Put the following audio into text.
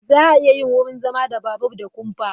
Za a iya yin wurin zama da babur da kumfa.